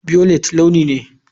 Violet launi ne.